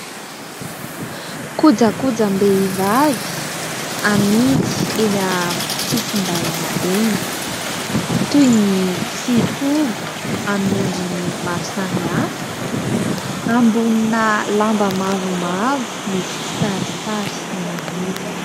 Kojakojam-behivavy amidy eny an-tsisin-dàlana eny, toy ny fihogo amin'ny endriny maro samihafa ambonina lamba mavomavo misy kisarisary menamena.